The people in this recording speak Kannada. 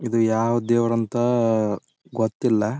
ಇದು ಯಾವದ ದೇವರು ಅಂತ ಗೊತ್ತಿಲ್ಲಾ.